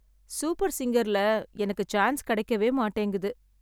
super சிங்கர்ல எனக்கு chance கிடைக்கவே மாட்டேங்குது